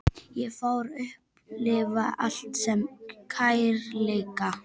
Ég fór að upplifa allt sem kærleika.